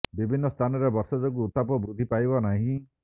ବିଭିନ୍ନ ସ୍ଥାନରେ ବର୍ଷା ଯୋଗୁଁ ଉତ୍ତାପ ବୃଦ୍ଧି ପାଇବ ନାହିଁ